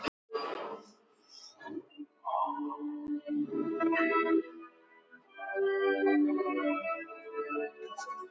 Tilvist Guðs